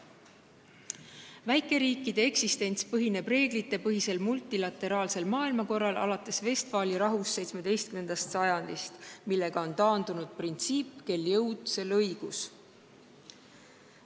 Väikeriikide eksistents põhineb reeglitepõhisel multilateraalsel maailmakorral alates Vestfaali rahust ehk 17. sajandist, millega on taandunud printsiip "Kel jõud, sel õigus".